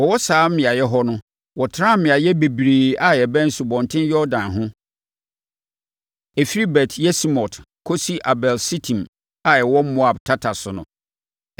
Wɔwɔ saa beaeɛ hɔ no, wɔtenaa mmeaeɛ bebree a ɛbɛn Asubɔnten Yordan ho—ɛfiri Bet-Yesimot kɔsi Abel Sitim a ɛwɔ Moab tata so no.